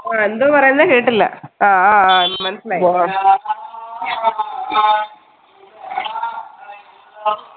അഹ് എന്തുവാ പറയുന്ന കേട്ടില്ല ആഹ് ആഹ് മനസ്സിലായി